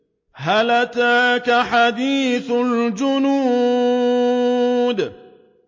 هَلْ أَتَاكَ حَدِيثُ الْجُنُودِ